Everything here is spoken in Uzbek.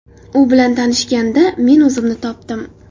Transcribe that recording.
U bilan tanishganda, men o‘zimni topdim.